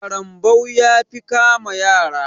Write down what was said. ƙarambau ya fi kama yara.